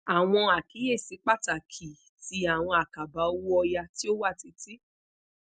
awon akiyesi patakii ti awọn akaba owo oya ti o wa titi